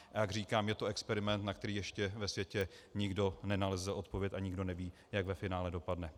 A jak říkám, je to experiment, na který ještě ve světě nikdo nenalezl odpověď, a nikdo neví, jak ve finále dopadne.